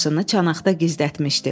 Başını çanaqda gizlətmişdi.